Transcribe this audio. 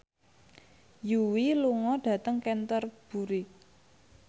Yui lunga dhateng Canterbury